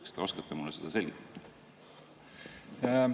Kas te oskate mulle seda selgitada?